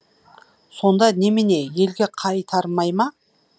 сонда немене елге қайтармай ма